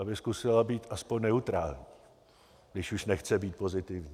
Aby zkusila být aspoň neutrální, když už nechce být pozitivní.